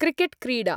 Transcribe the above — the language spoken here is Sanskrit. क्रिकेट्क्रीडा